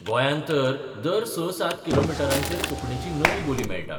गोंयांत तर दर स सात किलोमिटरांचेर कोंकणीची नवी बोली मेळटा.